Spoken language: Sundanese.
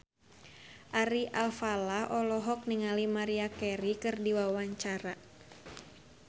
Ari Alfalah olohok ningali Maria Carey keur diwawancara